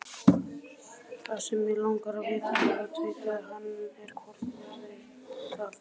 Það sem mig langar að vita, herra tautaði hann, er, hvort verður það?